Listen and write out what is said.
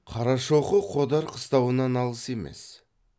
қарашоқы қодар қыстауынан алыс емес